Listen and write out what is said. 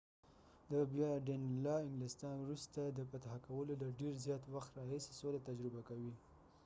انګلستان وروسته د danelaw د بیا فتح کولو د ډیر زیات وخت راهیسې سوله تجربه کوي